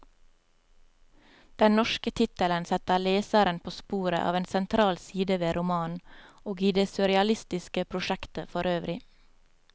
Den norske tittelen setter leseren på sporet av en sentral side ved romanen, og i det surrealistiske prosjektet forøvrig.